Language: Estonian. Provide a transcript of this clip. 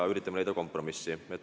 Me üritame leida kompromissi.